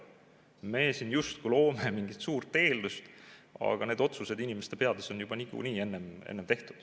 Me siin justkui loome mingit suurt eeldust, aga need otsused inimeste peas on juba niikuinii tehtud.